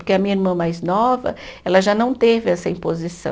Porque a minha irmã mais nova, ela já não teve essa imposição.